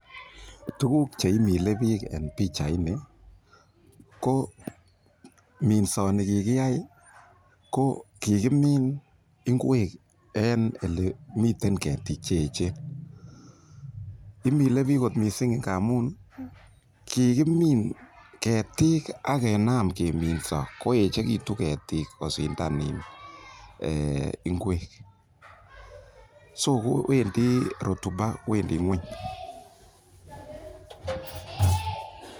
Tuguk che imile biik en pichaini ko minsoni kigiyai kokigimin ingwek en ele miten ketik che eechen. Imile biik kot mising ngamun kigimin ketik ak kenam keminso koechegitun ketik kosindan ingwek so kowendi rotuba wendi ng'weny.